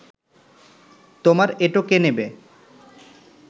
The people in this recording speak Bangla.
তোমার এঁটো কে নেবে